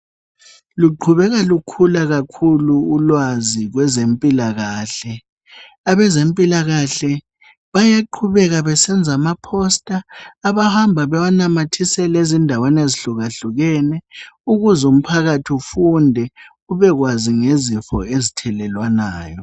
Luqhubeka lukhula kakhulu ulwazi kwezempilakahle. Abezempilakahle bayaqhubeka besenza ama"poster" abahamba bewanamathisela endaweni ezihlukahlukene ukuze umphakathi ufunde ubekwazi ngezifo ezithelelwanayo.